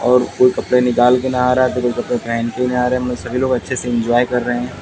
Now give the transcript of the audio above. और कोई कपड़े निकाल के नहा रहा और कोई कपड़े पहेन के नहा रहा सभी लोग अच्छे से इंजॉय कर रहे --